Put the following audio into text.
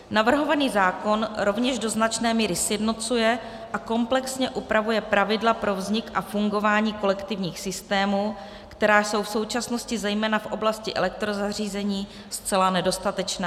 Navrhovaný zákon rovněž do značné míry sjednocuje a komplexně upravuje pravidla pro vznik a fungování kolektivních systémů, která jsou v současnosti zejména v oblasti elektrozařízení zcela nedostatečná.